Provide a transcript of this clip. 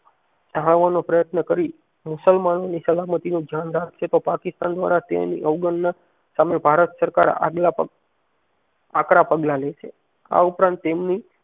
નો પ્રયત્ન કરી મુસલમાન ની સલામતીનું ધ્યાન રાખશે તો પાકિસ્તાન દ્વારા તેની અવગણના સામે ભારત સરકાર આગલા આકરા પગલાં લેશે આ ઉપરાંત તેમની